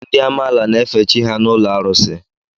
Ndị amaala na-efe chi ha n'ụlọ arụsị.